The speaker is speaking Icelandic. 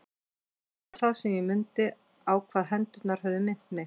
Og þá var það sem ég mundi á hvað hendurnar höfðu minnt mig.